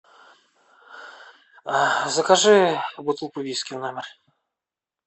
закажи бутылку виски в номер